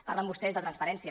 parlen vostès de transparència